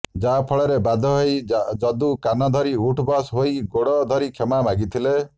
ଯାହାଫଳରେ ବାଧ୍ୟ ହୋଇ ଯଦୁ କାନ ଧରି ଉଠ୍ବସ ହୋଇ ଗୋଡ ଧରି କ୍ଷମା ମାଗିଥିଲେ